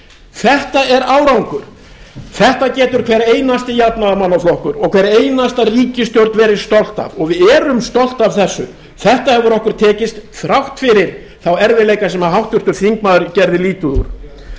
þetta er árangur þessu getur hver einasti jafnaðarmannaflokkur og hver einasta ríkisstjórn verið stolt af og við erum stolt af þessu þetta hefur okkur tekist þrátt fyrir þá erfiðleika sem háttvirtur þingmaður gerði lítið úr